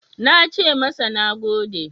Na ce masa "Na gode."